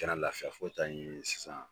Kana lafiya fo ka taa ɲɛɲinin sisan.